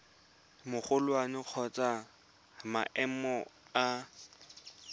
magolwane kgotsa wa maemo a